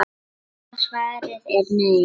Stutta svarið er: nei.